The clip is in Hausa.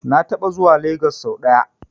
Na taɓa zuwa Lagos sau ɗaya.